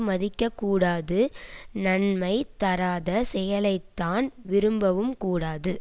மதிக்கக் கூடாது நன்மை தராத செயலைத்தான் விரும்பவும் கூடாது